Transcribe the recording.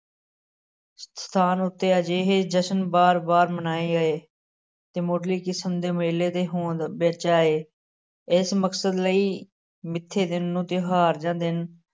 ਸਥਾਨ ਉੱਤੇ ਅਜਿਹੇ ਜਸ਼ਨ ਵਾਰ ਵਾਰ ਮਨਾਏ ਗਏ ਤੇ ਮੁੱਢਲੀ ਕਿਸਮ ਦੇ ਮੇਲੇ ਦੇ ਹੋਂਦ ਵਿੱਚ ਆਏ, ਇਸ ਮਕਸਦ ਲਈ ਮਿੱਥੇ ਦਿਨ ਨੂੰ ਤਿਉਹਾਰ ਜਾਂ ਦਿਨ